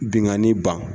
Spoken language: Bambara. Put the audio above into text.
Bingani ban